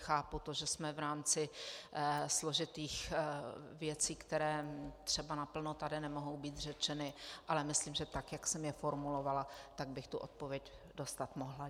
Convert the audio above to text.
Chápu to, že jsme v rámci složitých věcí, které třeba naplno tady nemohou být řečeny, ale myslím, že tak, jak jsem je formulovala, tak bych tu odpověď dostat mohla.